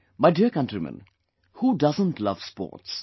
My dear countrymen, who doesn't love sports